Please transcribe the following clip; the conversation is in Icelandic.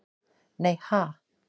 Nei ha?